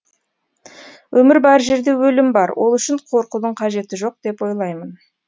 өмір бар жерде өлім бар ол үшін қорқудың қажеті жоқ деп ойлаймын